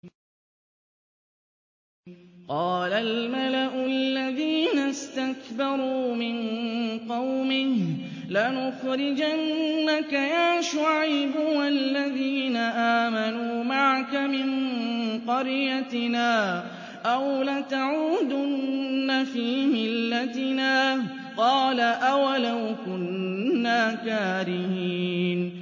۞ قَالَ الْمَلَأُ الَّذِينَ اسْتَكْبَرُوا مِن قَوْمِهِ لَنُخْرِجَنَّكَ يَا شُعَيْبُ وَالَّذِينَ آمَنُوا مَعَكَ مِن قَرْيَتِنَا أَوْ لَتَعُودُنَّ فِي مِلَّتِنَا ۚ قَالَ أَوَلَوْ كُنَّا كَارِهِينَ